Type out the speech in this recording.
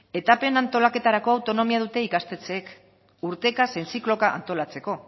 etapen antolaketarako autonomia dute ikastetxeek urteka zein zikloka antolatzeko